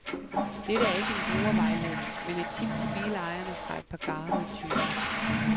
Dette er ikke en brugervejledning, men et tip til bilejerne fra et par garvede tyve.